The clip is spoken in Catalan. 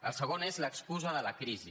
el segon és l’excusa de la crisi